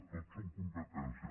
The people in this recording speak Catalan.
tot són competències